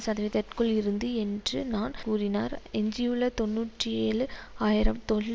சதவிதற்குள் இருந்து என்று நான் கூறினார் எஞ்சியுள்ள தொன்னூற்றி ஏழு ஆயிரம் தொழில்